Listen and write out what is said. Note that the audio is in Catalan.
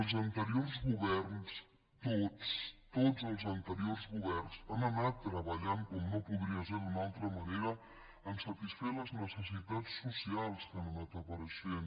els anteriors governs tots tots els anteriors governs han anat treballant com no podria ser d’una altra manera en satisfer les necessitats socials que han anat apareixent